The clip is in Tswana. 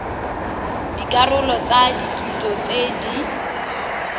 dikarolo tsa kitso tse di